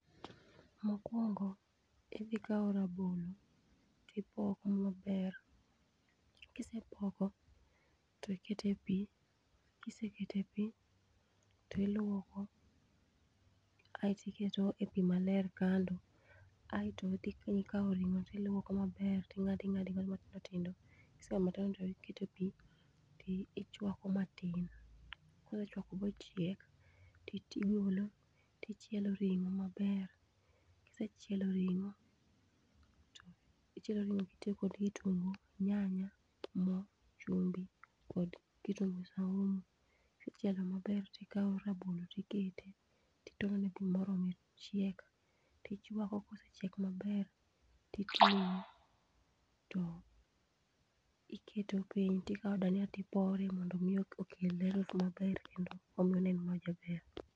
Mokuongo idhi kawo rabolo ti ipoko ma ber kisepoko ti iketo e pi, ti ilwoko aisto ikete e pi ma ler kando aito idhi kawo ringo ilwoko ma ber ti ing'ado ma tindo tindo kiseng'ado matindo tindo ti ikete pi ti chwako matin. kisechwako ma ochiek ti ogolo ti chielo ring'o ma ber kisecheilo ringo ti ichiel kod kitungu, nyanya gi moo, chumbi kod kitungu saumu. Kisechielo ma ber ti ikawo rabolo ti ikete to itono ne pi ma orome chiek ti ichwako kosechiek ma ber ti iketo piny ti ikawo dania ti ipore mondo mi okel ladha ma ber kendo onen ma ja ber.